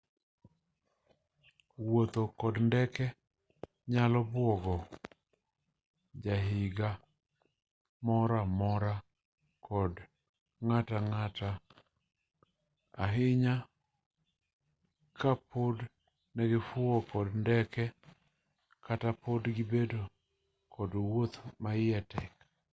wuotho kod ndege nyalo buogo jahiga moro-amora kod ng'atang'ata' ahinya kapok negifuyo kod ndege kata pok gibedo kod wuoth maiye tek